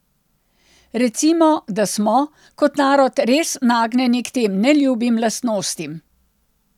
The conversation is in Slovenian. Recimo, da smo, kot narod res nagnjeni k tem neljubim lastnostim.